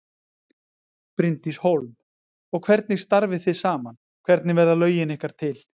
Bryndís Hólm: Og hvernig starfið þið saman, hvernig verða lögin ykkar til?